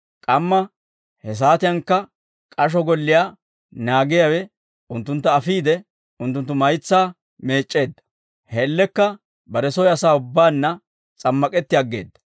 K'amma he saatiyankka k'asho golliyaa naagiyaawe unttuntta afiide unttunttu maytsaa meec'c'eedda; he man''iyaan bare soy asaa ubbaanna s'ammak'etti aggeedda.